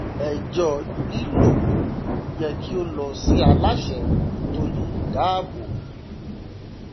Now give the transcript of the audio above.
ẹjọ lílòkulò yẹ kí ó lọ sí aláṣẹ tó le dáàbò